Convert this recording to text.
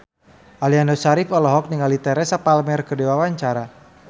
Aliando Syarif olohok ningali Teresa Palmer keur diwawancara